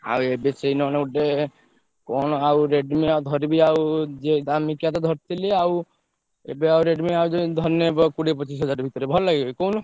ଆଉ ଏବେ ସେଇ ନ ହେନେ ଗୋଟେ କଣ ଆଉ Redmi ଆଉ ଧରିବି ଆଉ ଯେ ଦାମିକିଆ ତ ଧରିଥିଲି ଆଉ ଏବେ ଆଉ Redmi ଆଉ ଯୋଉ ଧରିନେ ବା କୋଡିଆ ପଛିଶ୍ ହଜାର ଭିତରେ ଭଲ ଲାଗିବ କି କହୁନ।